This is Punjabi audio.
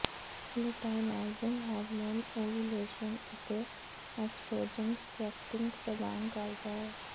ਲੂਟਾਈਨਾਈਜ਼ਿੰਗ ਹਾਰਮੋਨ ਓਵੂਲੇਸ਼ਨ ਅਤੇ ਐਸਟ੍ਰੋਜਨ ਸਪ੍ਰੈਕਟੀਨ ਪ੍ਰਦਾਨ ਕਰਦਾ ਹੈ